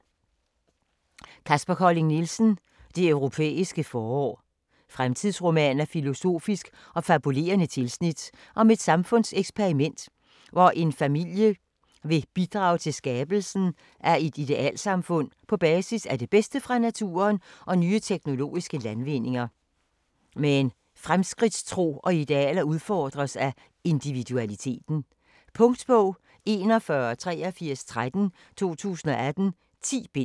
Colling Nielsen, Kaspar: Det europæiske forår Fremtidsroman af filosofisk og fabulerende tilsnit om et samfundseksperiment, hvor en familie vil bidrage til skabelsen af et idealsamfund på basis af det bedste fra naturen og nye teknologiske landvindinger. Men fremskridtstro og idealer udfordres af individualiteten. Punktbog 418313 2018. 10 bind.